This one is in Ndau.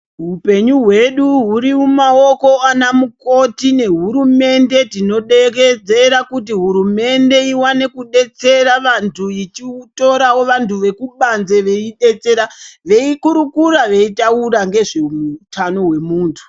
Hupenyu hwedu huri mumaoko ana mukoti nehurumende dzinodekedzera kuti hurumende iwane kudetsera vanthu ichitorawo vanthu vekubanze veidetsera veikurukura veitaura ngezveutano hwemuthu.